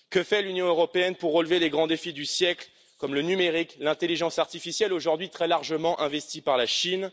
Que fait l'Union européenne pour relever les grands défis du siècle comme le numérique et l'intelligence artificielle, aujourd'hui très largement investis par la Chine?